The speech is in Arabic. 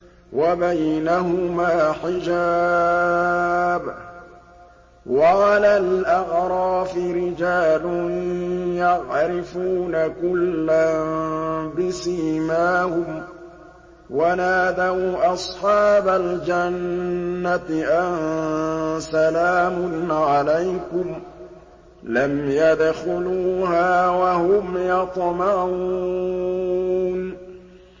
وَبَيْنَهُمَا حِجَابٌ ۚ وَعَلَى الْأَعْرَافِ رِجَالٌ يَعْرِفُونَ كُلًّا بِسِيمَاهُمْ ۚ وَنَادَوْا أَصْحَابَ الْجَنَّةِ أَن سَلَامٌ عَلَيْكُمْ ۚ لَمْ يَدْخُلُوهَا وَهُمْ يَطْمَعُونَ